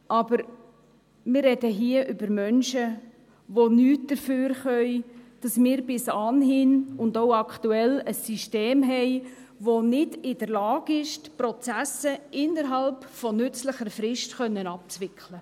Aber wir reden hier über Menschen, die nichts dafür können, dass wir bis anhin und auch aktuell, ein System haben, das nicht in der Lage ist, die Prozesse innerhalb nützlicher Frist abzuwickeln.